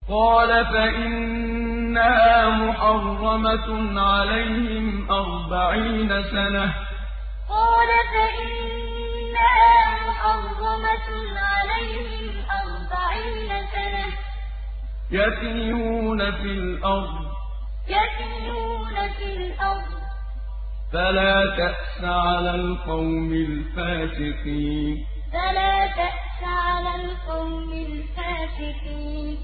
قَالَ فَإِنَّهَا مُحَرَّمَةٌ عَلَيْهِمْ ۛ أَرْبَعِينَ سَنَةً ۛ يَتِيهُونَ فِي الْأَرْضِ ۚ فَلَا تَأْسَ عَلَى الْقَوْمِ الْفَاسِقِينَ قَالَ فَإِنَّهَا مُحَرَّمَةٌ عَلَيْهِمْ ۛ أَرْبَعِينَ سَنَةً ۛ يَتِيهُونَ فِي الْأَرْضِ ۚ فَلَا تَأْسَ عَلَى الْقَوْمِ الْفَاسِقِينَ